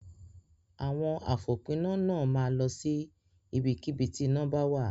Àwọn àfòpiná náà máa lọ sí ibikíbi tí iná bá wà.